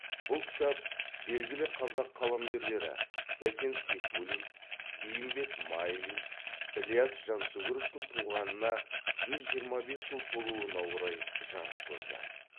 бұл кітап белгілі қазақ қаламгерлері сәкен сейфуллин бейімбет майлин ілияс жансүгіровтың туғанына жүз жиырма бес жыл толуына орай жарық көрді